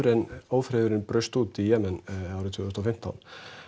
en ófriðurinn braust út í Jemen árið tvö þúsund og fimmtán